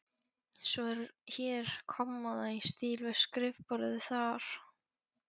Svo er hér kommóða í stíl við skrifborðið þar.